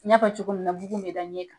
N y'a fɔ cogo min na bugun bɛ da ɲɛ kan.